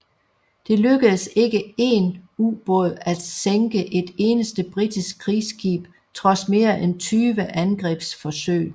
Det lykkedes ikke én ubåd at sænke et eneste britisk krigsskib trods mere end 20 angrebsforsøg